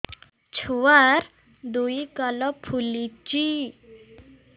ଛୁଆର୍ ଦୁଇ ଗାଲ ଫୁଲିଚି